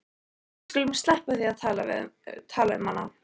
Við skulum sleppa því að tala um hana.